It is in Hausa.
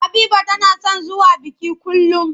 Habiba tana son zuwa biki kullum.